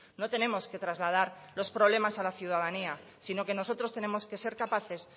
no tenemos que trasladar los problemas a la ciudadanía sino que nosotros tenemos que ser capaces